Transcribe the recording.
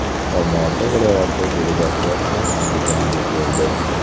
Olmaota viloyati delegatsiyasi Andijonga keldi.